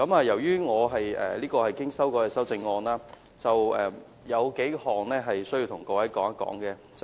由於這項是經修改的修正案，有數點我需要向各位說明。